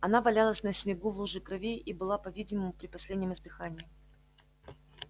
она валялась на снегу в луже крови и была по-видимому при последнем издыхании